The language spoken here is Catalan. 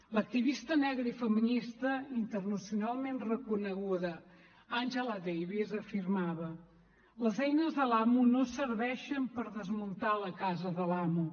l’activista negra i feminista internacionalment reconeguda angela davis afirmava les eines de l’amo no serveixen per desmuntar la casa de l’amo